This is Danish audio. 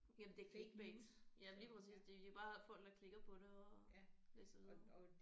Jamen det er clickbait ja lige præcis det er bare folk der klikker på det og læser videre